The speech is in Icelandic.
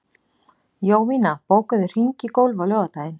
Jovina, bókaðu hring í golf á laugardaginn.